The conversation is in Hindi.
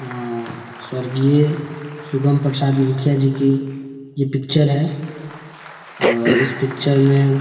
अ स्व. शुभम प्रशाद मुखिया जी की ये पिक्चर हैं और इस पिक्चर में --